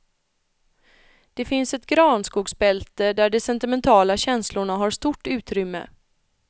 Det finns ett granskogsbälte där de sentimentala känslorna har stort utrymme.